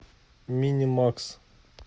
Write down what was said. минимакс